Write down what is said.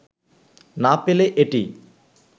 না পেলে এটি